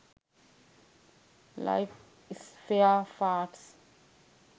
life spare parts